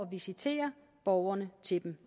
visitere borgerne til dem